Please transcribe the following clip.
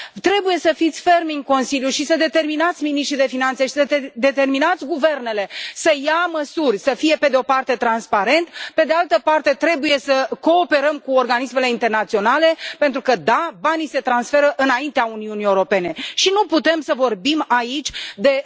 Trebuie să fiți fermi în Consiliu și să determinați miniștrii de finanțe și să determinați guvernele să ia măsuri, să fie pe de o parte transparent, pe de altă parte, trebuie să cooperăm cu organismele internaționale pentru că da, banii se transferă înaintea Uniunii Europene și nu putem să vorbim aici de